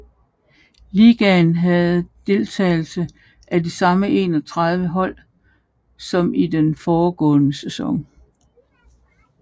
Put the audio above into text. Ligaen havde deltagelse af de samme 31 hold som i den foregående sæson